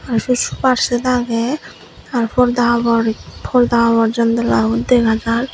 ar se sofa set age ar porda habor janalabot dega jar.